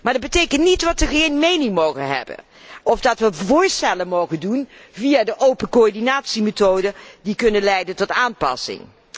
Maar dat betekent niet dat wij geen mening mogen hebben of geen voorstellen mogen doen via de open coördinatiemethode, die kunnen leiden tot aanpassing.